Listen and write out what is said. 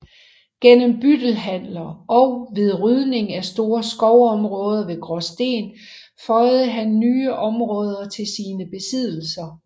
Gennem byttehandler og ved rydning af store skovområder ved Graasten føjede han nye områder til sine besiddelser